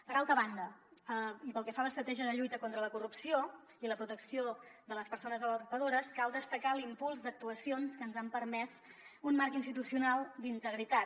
per altra banda i pel que fa a l’estratègia de lluita contra la corrupció i la protecció de les persones alertadores cal destacar l’impuls d’actuacions que ens han permès un marc institucional d’integritat